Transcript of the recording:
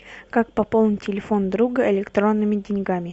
как пополнить телефон друга электронными деньгами